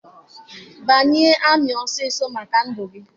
Banye amị ọsọọsọ maka ndụ gị!